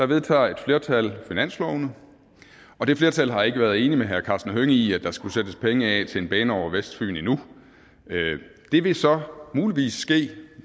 vedtager et flertal finanslovene og det flertal har ikke været enig med herre karsten hønge i at der skulle sættes penge af til en bane over vestfyn endnu det vil så muligvis ske